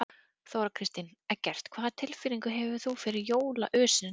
Þóra Kristín: Eggert, hvaða tilfinningu hefurðu fyrir jólaösinni núna?